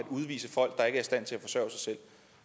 udvise folk der ikke er i stand til at forsørge sig selv